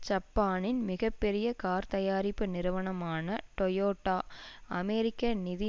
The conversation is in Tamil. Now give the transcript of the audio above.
ஜப்பானின் மிக பெரிய கார்த்தயாரிப்பு நிறுவனமான டோயோடா அமெரிக்க நிதி